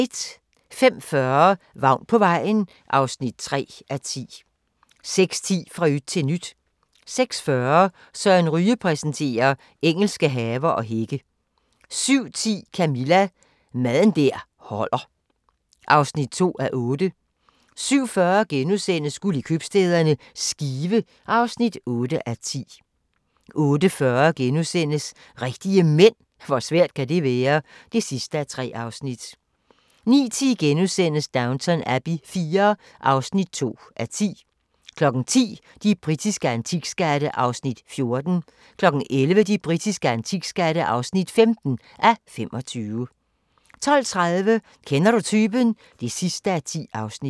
05:40: Vagn på vejen (3:10) 06:10: Fra yt til nyt 06:40: Søren Ryge præsenterer: Engelske haver og hække 07:10: Camilla – Mad der holder (2:8) 07:40: Guld i købstæderne – Skive (8:10)* 08:40: Rigtige Mænd – hvor svært kan det være? (3:3)* 09:10: Downton Abbey IV (2:10)* 10:00: De britiske antikskatte (14:25) 11:00: De britiske antikskatte (15:25) 12:30: Kender du typen? (10:10)